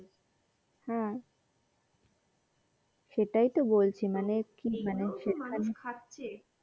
হ্যাঁ সেইটাই তো বলছি মানে কি মানে